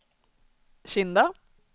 Kinda